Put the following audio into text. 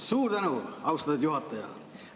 Suur tänu, austatud juhataja!